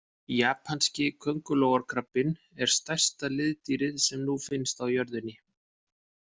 Japanski köngulóarkrabbinn er stærsta liðdýrið sem nú finnst á jörðinni.